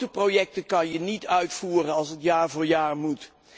Grote projecten kun je niet uitvoeren als het jaar voor jaar moet.